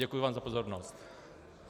Děkuji vám za pozornost.